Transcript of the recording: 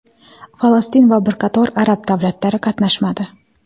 Falastin va bir qator arab davlatlari qatnashmadi .